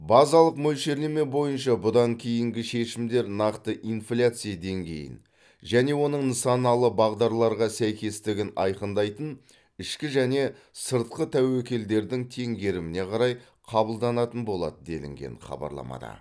базалық мөлшерлеме бойынша бұдан кейінгі шешімдер нақты инфляция деңгейін және оның нысаналы бағдарларға сәйкестігін айқындайтын ішкі және сыртқы тәуекелдердің теңгеріміне қарай қабылданатын болады делінген хабарламада